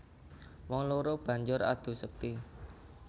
Wong loro banjur adu sekti